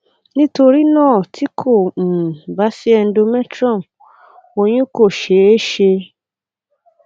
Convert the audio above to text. nitorinaa ti ko um ba si endometrium oyun ko ṣee ṣe